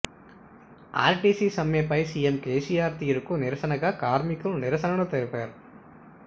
RTC సమ్మెపై CM KCR తీరుకు నిరసనగా కార్మికులు నిరసనలు తెలిపారు